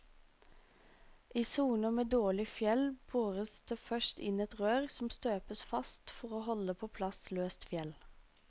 I soner med dårlig fjell bores det først inn et rør som støpes fast for å holde på plass løst fjell.